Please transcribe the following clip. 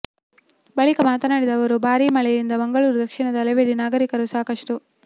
ಬಳಿಕ ಮಾತನಾಡಿದ ಅವರು ಭಾರಿ ಮಳೆಯಿಂದ ಮಂಗಳೂರು ದಕ್ಷಿಣದ ಹಲವೆಡೆ ನಾಗರಿಕರು ಸಾಕಷ್ಟು